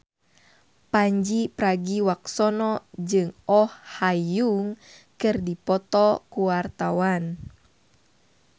Pandji Pragiwaksono jeung Oh Ha Young keur dipoto ku wartawan